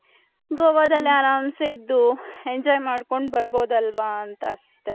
ಗೋವಾದಲ್ಲಿ ಅರಂಸೆ ಇದು enjoy ಮಾಡ್ಕೊಂಡ್ ಬರ್ಬೌದ್ ಅಲ್ವ ಅಂತ ಅಷ್ಟೆ .